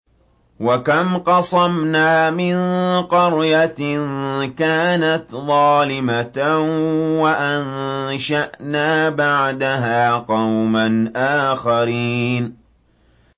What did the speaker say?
وَكَمْ قَصَمْنَا مِن قَرْيَةٍ كَانَتْ ظَالِمَةً وَأَنشَأْنَا بَعْدَهَا قَوْمًا آخَرِينَ